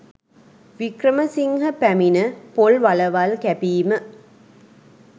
වික්‍රමසිංහ පැමිණ පොල් වලවල් කැපීම